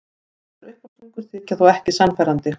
Þessar uppástungur þykja þó ekki sannfærandi.